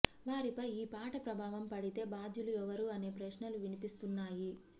వారిపై ఈ పాట ప్రభావం పడితే భాద్యులు ఎవరు అనే ప్రశ్నలు వినిపిస్తున్నాయి